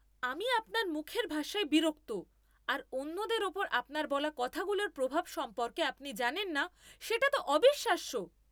আমি আপনার মুখের ভাষায় বিরক্ত আর অন্যদের ওপর আপনার বলা কথাগুলোর প্রভাব সম্পর্কে আপনি জানেন না সেটা তো অবিশ্বাস্য।